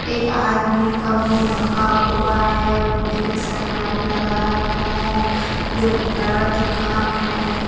एक आदमी का मुँह ढका हुआ है और ढेर सारा लाइट लगाया गया है दो बड़ा बड़ा दुकान है ।